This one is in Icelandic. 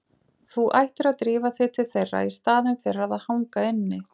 Þú ættir að drífa þig til þeirra í staðinn fyrir að hanga inni.